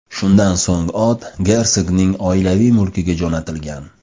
Shundan so‘ng ot gersogning oilaviy mulkiga jo‘natilgan.